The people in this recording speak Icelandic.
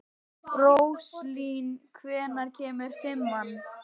Róslín, hvenær kemur fimman?